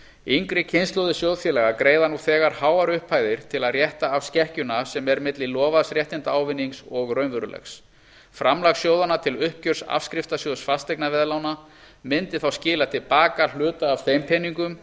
yngri kynslóðir sjóðfélaga greiða nú þegar háar upphæðir til að rétta af skekkjuna sem er milli lofaðs réttindaávinnings og raunverulegs framlag sjóðanna til uppgjörs afskriftasjóðs fasteignaveðlána mundi þá skila til baka hluta af þeim peningum